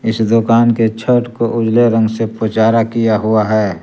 इस दुकान के छत को उजले रंग से पुचारा किया हुआ है।